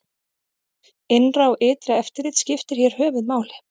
Innra og ytra eftirlit skiptir hér höfuð máli.